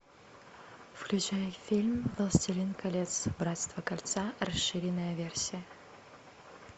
включай фильм властелин колец братство кольца расширенная версия